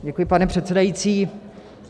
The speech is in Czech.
Děkuji, pane předsedající.